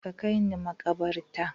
Ka kai ni makabarta